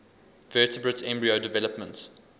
vertebrate embryo development